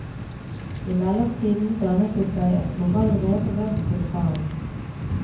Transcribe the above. I mellomtiden dannet det seg et korallrev rundt vulkanen.